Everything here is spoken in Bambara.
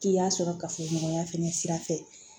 K'i y'a sɔrɔ kafoɲɔgɔnya fana sira fɛ